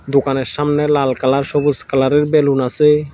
দোকানের সামনে লাল কালার সবুজ কালারের বেলুন আছে।